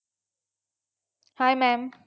Hi mam